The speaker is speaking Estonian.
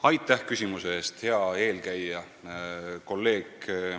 Aitäh küsimuse eest, hea eelkäija ja kolleeg!